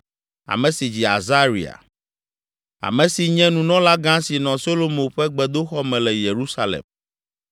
ame si dzi Azaria, ame si nye Nunɔlagã si nɔ Solomo ƒe gbedoxɔ me le Yerusalem.